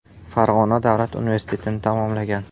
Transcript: Farg‘ona davlat universitetini tamomlagan.